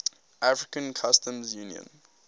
african customs union